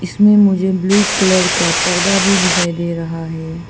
इसमें मुझे blue colour का पर्दा भी दिखाई दे रहा है।